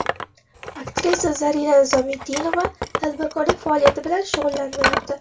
Aktrisa Zarina Nizomiddinova tadbirkorlik faoliyati bilan shug‘ullanmayapti.